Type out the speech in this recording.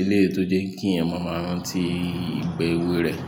eléyìí tó jẹ́ kí èèyàn máa rántí ìgbà èwe rẹ̀.